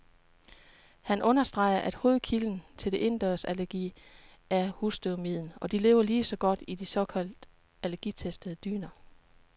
Han understreger, at hovedkilden til indendørsallergi er husstøvmiden, og de lever lige så godt i de såkaldt allergitestede dyner.